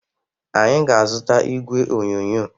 Anyị ga-azụta igwe onyonyo.